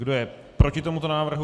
Kdo je proti tomuto návrhu?